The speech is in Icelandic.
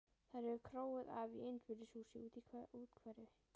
Þau eru króuð af í einbýlishúsi úti í úthverfi.